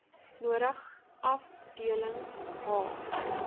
nodig afdelings h